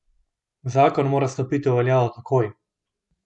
Zakon mora stopiti v veljavo takoj.